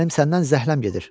Mənim səndən zəhləm gedir.